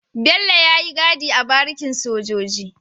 Bello yayi gadi a barikin sojoji